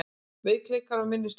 Veikleikar og minnisleysi